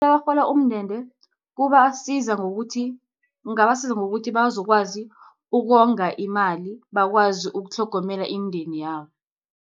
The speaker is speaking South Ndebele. Abarhola umndende, kubasiza ngokuthi, kungabasiza ngokuthi, bazokwazi ukonga imali, bakwazi ukutlhogomela imindeni yabo.